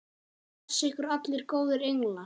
Blessi ykkur allir góðir englar.